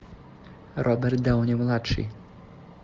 роберт дауни младший